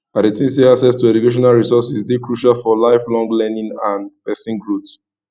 i dey think say access to educational resources dey crucial for lifelong learning and pesinal growth